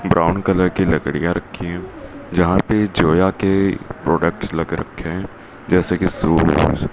brown colour की लड़कियां रखी जहां पर जया के प्रोडक्ट लगा रखे हैं जैसे कि शूज --